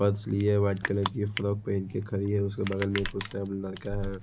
Purse लिए white colour की frock पहन के खड़ी है उसके बगल में एक उसका लड़का है।